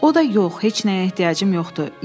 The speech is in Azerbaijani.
O da yox, heç nəyə ehtiyacım yoxdur.